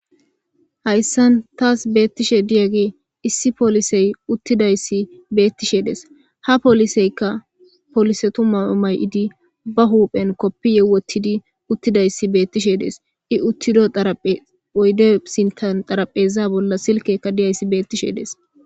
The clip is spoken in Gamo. hayssan taas beettishe diyage issi poolisey uttidayssi beettishe dees ha poliseykka polisetu ma'o may'idi ba huuphen koppiye wottidi uttidayssi beettishe dees i uttido xaraphe oyde sintan xarapheza bolla silkekka diyayssi beettishe dees